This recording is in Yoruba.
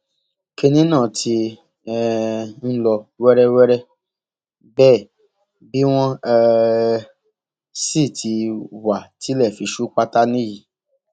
kínní náà ti um ń lọ wẹrẹwẹrẹ bẹẹ bí wọn um sì ti wá tí ilẹ fi ṣú pátá nìyí